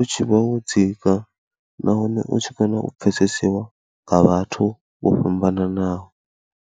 u tshi vha wo dzika nahone u tshi kona u pfhesesiwa nga vhathu vho fhambananaho.